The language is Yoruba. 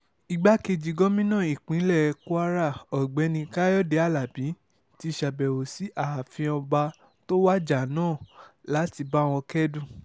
igbákejì gòmìnà ìpínlẹ̀ kwara ọ̀gbẹ́ni káyọ̀dé alábí ti ṣàbẹ̀wò sí ààfin ọba tó wájà náà láti bá wọn kẹ́dùn